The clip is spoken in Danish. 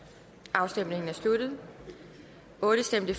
afstemningen er sluttet for stemte